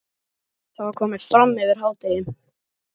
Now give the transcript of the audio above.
Það var komið fram yfir hádegi.